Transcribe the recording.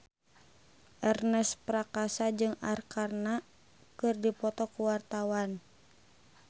Ernest Prakasa jeung Arkarna keur dipoto ku wartawan